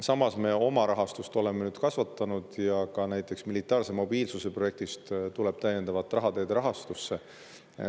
Samas me oma rahastust oleme nüüd kasvatanud ja ka näiteks militaarse mobiilsuse projektist tuleb täiendavat raha teede rahastamiseks.